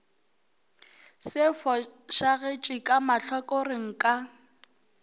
se fošagetše ka mahlakoreng ka